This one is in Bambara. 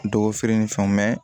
Dɔgɔ feere ni fɛnw